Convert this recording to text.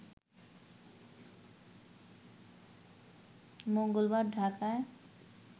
মঙ্গলবার ঢাকায়